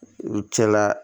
U cɛla